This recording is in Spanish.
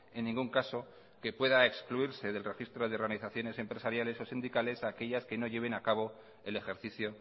en ningún caso que pueda excluirse del registro de organizaciones empresariales o sindicales a aquellas que no lleven a cabo el ejercicio